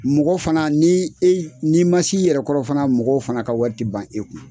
Mɔgɔ fana n'i e n'i man s'i yɛrɛ kɔrɔ fana mɔgɔw fana ka wari tɛ ban e kun.